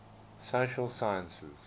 social sciences